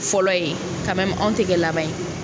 Fɔlɔ ye anw te kɛ laban ye.